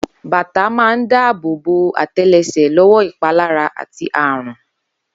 Bàtà máa ń dá abò bo ate̩le̩sè̩ ló̩wó̩ ìpalára àti àrùn